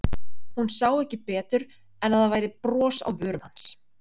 Hún sá ekki betur en að það væri bros á vörum hans.